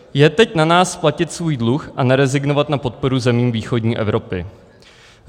Je teď na nás platit svůj dluh a nerezignovat na podporu zemí východní Evropy.